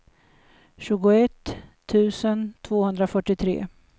tjugoett tusen tvåhundrafyrtiotre